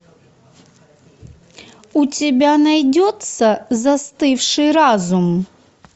у тебя найдется застывший разум